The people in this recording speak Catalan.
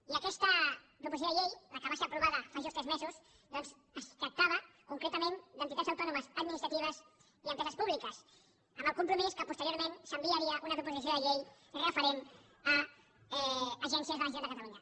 i aquesta proposició de llei la que va ser aprovada fa just tres mesos doncs es tractava concretament d’entitats autònomes administratives i empreses públiques amb el compromís que posteriorment s’enviaria una proposició de llei referent a agències de la generalitat de catalunya